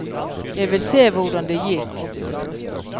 Jeg vil se hvordan det gikk.